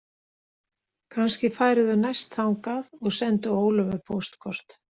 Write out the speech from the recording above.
Kannski færu þau næst þangað og sendu Ólöfu póstkort.